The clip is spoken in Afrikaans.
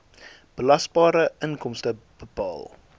belasbare inkomste bepaal